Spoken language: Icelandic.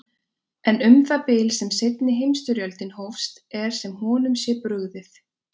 En um það bil sem seinni heimsstyrjöldin hófst er sem honum sé brugðið.